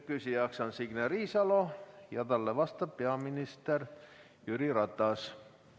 Küsija on Signe Riisalo ja talle vastab peaminister Jüri Ratas.